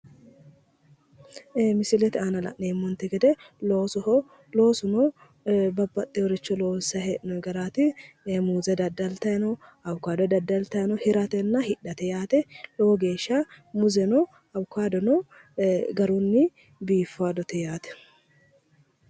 Ee misilete aana la'neemmonte gede loosoho loosuno babbaxxeworicho loonsayi hee'noyi garaati ee muuze daddaltayi no awukaado daddaltayi no hiratenna hidhate yaate lowo geesha muuzeno awukaadono ee garunni biifadote yaate